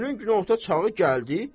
Günün günorta çağı gəldi.